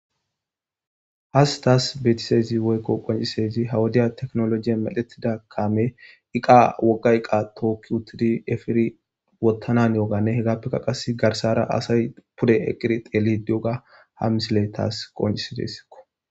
has taas beetisezi woykko qoncisezi hawudiya teknolojiye medetida kaame iqa wogga iqa tookki uttidi efiri wottana haniyogane hegappekka qas garsara asay pude eqqiri xeelidi de'iyoga ha misile taas qoncisidessikko.